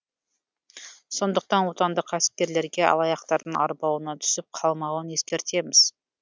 сондықтан отандық кәсіпкерлерге алаяқтардың арбауына түсіп қалмауын ескертеміз